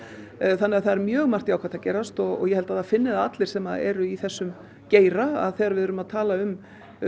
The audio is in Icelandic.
þannig að það er mjög margt jákvætt að gerast og ég held að það finni það allir sem eru í þessum geira þegar við erum að tala um